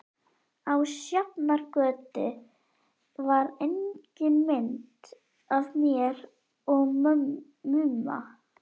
Á Sjafnargötu var engin mynd af mér og Mumma.